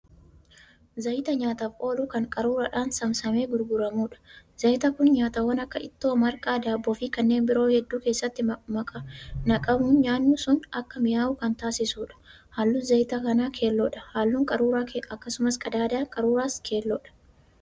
Zayta nyaataaf oolu Kan qaruuraadhaan saamsamee gurguramuudha. zayti Kun nyaatawwaan Akka ittoo, marqaa, daabboo, Fi kanneen biroo hedduu keessatti naqabuun nyaannu sun Akka mi'aawu Kan taasisuudha. halluun zayta kanaa keelloodha, halluun qaruuraa akkasumas qadaada qaruuraas keellodha.